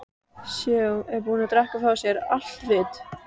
Séu búin að drekka frá sér allt vit.